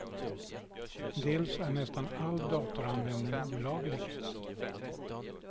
Dels är nästan all datoranvändning olaglig.